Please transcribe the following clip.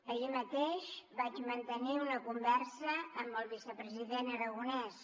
ahir mateix vaig mantenir una conversa amb el vicepresident aragonés